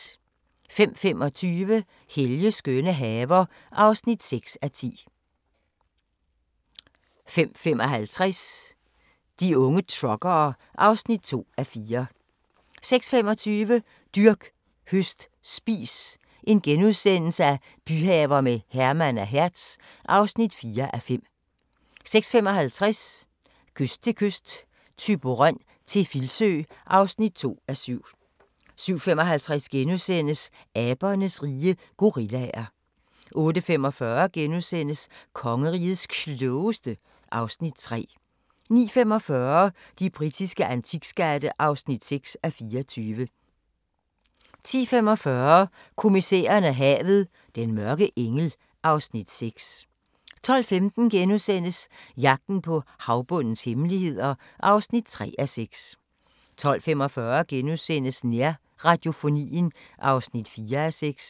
05:25: Helges skønne haver (6:10) 05:55: De unge truckere (2:4) 06:25: Dyrk, høst, spis – byhaver med Herman og Hertz (4:5)* 06:55: Kyst til kyst – Thyborøn til Filsø (2:7) 07:55: Abernes rige - gorillaer * 08:45: Kongerigets Klogeste (Afs. 3)* 09:45: De britiske antikskatte (6:24) 10:45: Kommissæren og havet: Den mørke engel (Afs. 6) 12:15: Jagten på havbundens hemmeligheder (3:6)* 12:45: Nærradiofonien (4:6)*